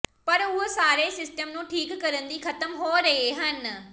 ਪਰ ਉਹ ਸਾਰੇ ਸਿਸਟਮ ਨੂੰ ਠੀਕ ਕਰਨ ਦੀ ਖਤਮ ਹੋ ਰਹੇ ਹਨ